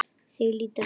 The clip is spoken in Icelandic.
Þau líta við.